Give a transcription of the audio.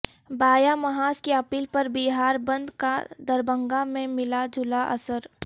بایاں محاذ کی اپیل پر بہار بند کا دربھنگہ میں ملاجلا اثر